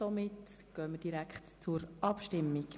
Somit kommen wir direkt zur Abstimmung.